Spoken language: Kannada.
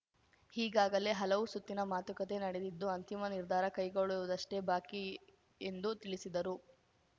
ಈಗಾಗಲೇ ಹಲವು ಸುತ್ತಿನ ಮಾತುಕತೆ ನಡೆದಿದ್ದು ಅಂತಿಮ ನಿರ್ಧಾರ ಕೈಗೊಳ್ಳುವುದಷ್ಟೇ ಬಾಕಿ ಎಂದು ತಿಳಿಸಿದರು